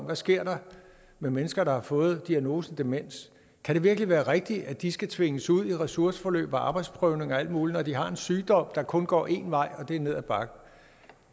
der sker med mennesker der har fået diagnosen demens kan det virkelig være rigtigt at de skal tvinges ud i ressourceforløb og arbejdsprøvning og alt muligt når de har en sygdom der kun går én vej og det er ned ad bakke